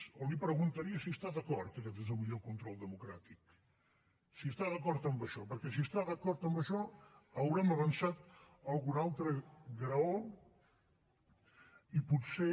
o li preguntaria si està d’acord que aquest és el millor control democràtic si està d’acord amb això perquè si està d’acord amb això haurem avançat algun altre graó i potser